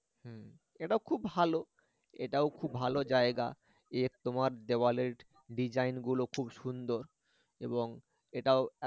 হম এটাও খুব ভালো এটাও খুব ভালো জায়গা এ তোমার দেওয়ালের design গুলো খুব সুন্দর এবং এটাও